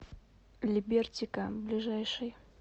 либертика ближайший